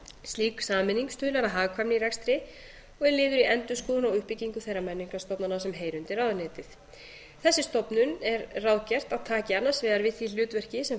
slík sameining stuðlar að hagkvæmni í rekstri og er liður í endurskoðun og uppbyggingu þeirra menningarstofnana sem heyra undir ráðuneytið þessi stofnun er ráðgert að taki annars vegar við því hlutverki sem